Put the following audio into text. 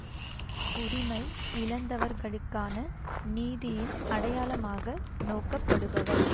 உரிமை இழந்தவர்களுக்கான நீதியின் அடையாளமாக நோக்கப்படுபவர்